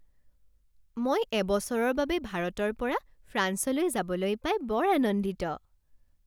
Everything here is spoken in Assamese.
মই এবছৰৰ বাবে ভাৰতৰ পৰা ফ্ৰান্সলৈ যাবলৈ পাই বৰ আনন্দিত৷